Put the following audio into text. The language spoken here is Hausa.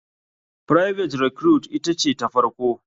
Private recruite ita ce ta farko.